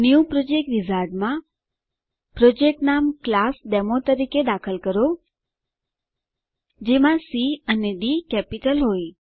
new project wizard માં project નામ class demo તરીકે દાખલ કરો જેમાં સી અને ડી કેપિટલ હોય